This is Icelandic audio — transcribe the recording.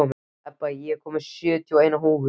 Ebba, ég kom með sjötíu og eina húfur!